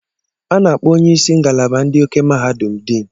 A na-akpọ onye isi ngalaba ndị okè mahadum Dean.